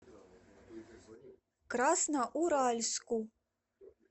красноуральску